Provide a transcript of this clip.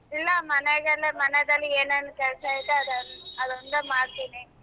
ಇಲ್ಲ ಮನೆಗೆಲ್ಲ ಮನೆದಲ್ಲಿ ಏನೇನ ಕೆಲಸ ಆಯತೇ ಅದೊಂದು ಚೂರ ಮಾಡ್ತೀನಿ